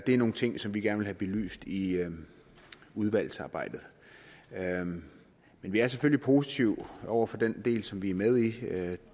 det er nogle ting som vi gerne vil have belyst i udvalgsarbejdet men vi er selvfølgelig positive over for den del som vi er med i